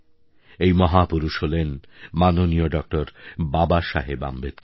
এই মহাপুরুষ হলেন মাননীয় ড বাবাসাহেব আম্বেদকর